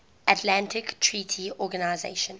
atlantic treaty organisation